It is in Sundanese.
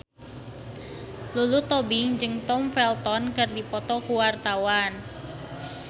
Lulu Tobing jeung Tom Felton keur dipoto ku wartawan